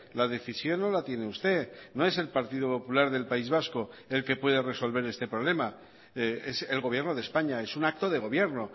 la decisión no la tiene usted no es el partido popular del país vasco el que puede resolver este problema es el gobierno de españa es un acto de gobierno